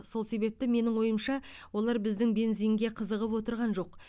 сол себепті менің ойымша олар біздің бензинге қызығып отырған жоқ